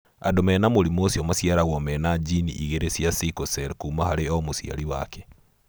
Andũ mena mũrimũ ũcio maciaragwo mena gene igĩrĩ cia sickle cell kuma harĩ o mũciari wake.